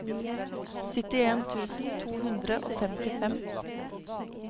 syttien tusen to hundre og femtifem